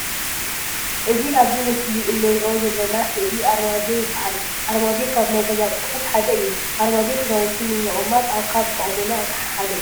እዚ ኣብዚ ምስሊ እንርእዩ ዘለና ስእሊ ኣርማድዮ ይባሃል። ኣርማድዮ ካብ ናይ ገዛ ኣቆሑት ሓደ እዩ። ኣርማድዮ ክዳውንቲ ንምቅማጥ ካብ ዝጠቅመና ኣቅሓ ሓደ እዩ።